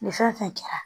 Nin fɛn fɛn kɛra